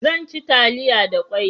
Zan ci taliya da kwai